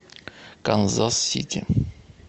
канзас сити